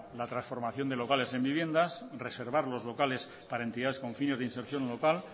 la transformación de locales en viviendas reservar los locales para entidades con fines de inserción local